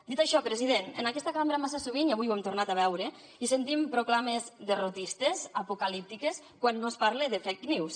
dit això president en aquesta cambra massa sovint i avui ho hem tornat a veure hi sentim proclames derrotistes apocalíptiques quan no es parla de fake news